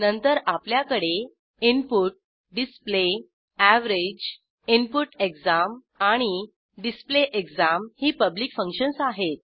नंतर आपल्याकडे input display average input exam आणि display exam ही पब्लिक फंक्शन्स आहेत